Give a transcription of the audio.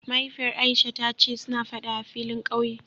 Mahaifiyar Aisha ta ce suna Fada a filin kauye